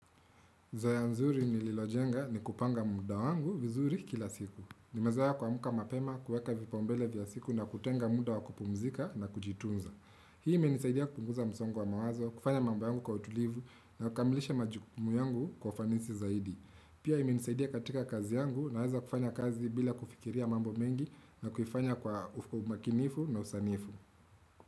Zoea nzuri nililojenga ni kupanga muda wangu vizuri kila siku. Nimezoea kuamka mapema kueka vipaumbele vya siku na kutenga muda wa kupumzika na kujitunza. Hii imenisaidia kupunguza msongo wa mawazo, kufanya mambo yangu kwa utulivu na kukamilisha majukumu yangu kwa fanisi zaidi. Pia imenisaidia katika kazi yangu naweza kufanya kazi bila kufikiria mambo mengi na kuifanya kwa umakinifu na usanifu.